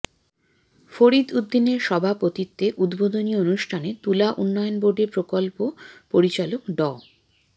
ফরিদ উদ্দিনের সভাপতিত্বে উদ্বোধনী অনুষ্ঠানে তুলা উন্নয়ন বোর্ডের প্রকল্প পরিচালক ড